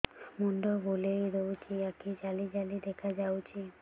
ମୁଣ୍ଡ ବୁଲେଇ ଦଉଚି ଆଖି ଜାଲି ଜାଲି ଦେଖା ଯାଉଚି